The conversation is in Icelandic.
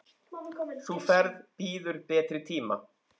Sú ferð bíður betri tíma.